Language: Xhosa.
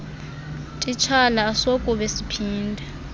titshala asokube siphinde